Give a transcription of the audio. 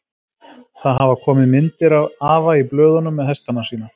Það hafa komið myndir af afa í blöðunum með hestana sína.